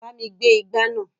Bá mi gbé igbá náà.